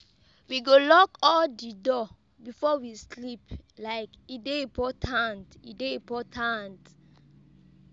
We go lock all di door before we sleep. like E dey important. E dey important.